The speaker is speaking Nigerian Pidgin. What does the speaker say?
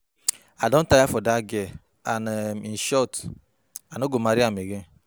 I don tire for dat girl and in short I no go marry am again